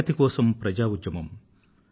ప్రగతి కోసం ప్రజా ఉద్యమం